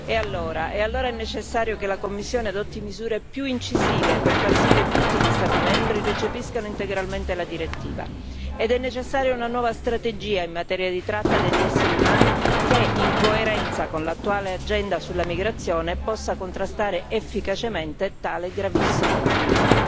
E allora? E allora è necessario che la Commissione adotti misure più incisive per far sì che tutti gli Stati membri recepiscano integralmente la direttiva, ed è necessaria una nuova strategia in materia di tratta degli esseri umani che, in coerenza con l'attuale agenda sulla migrazione, possa contrastare efficacemente tale gravissimo crimine.